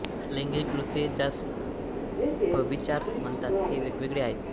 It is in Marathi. लैंगिक कृत्ये ज्यास व्यभिचार म्हणतात हे वेगवेगळे आहेत